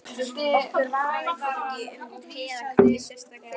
Okkur varðaði hvorki um te eða kaffi sérstaklega.